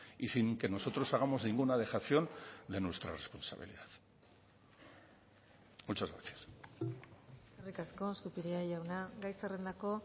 y sin que nosotros hagamos ninguna dejación de nuestra responsabilidad muchas gracias eskerrik asko zupiria jauna gai zerrendako